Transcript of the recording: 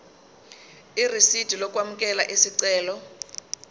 irisidi lokwamukela isicelo